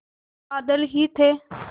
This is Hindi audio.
बादल ही थे